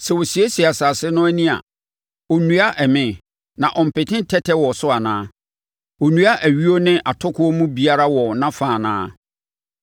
Sɛ ɔsiesie asase no ani a, ɔnnua ɛme, na ɔmpete tɛtɛ wɔ so anaa? Ɔnnua ayuo ne atokoɔ mu biara wɔ nʼafa anaa?